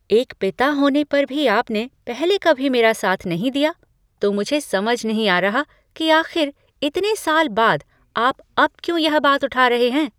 एक पिता होने पर भी आपने पहले कभी मेरा साथ नहीं दिया। तो मुझे समझ नहीं आ रहा कि आख़िर इतने साल बाद आप अब क्यों यह बात उठा रहे हैं?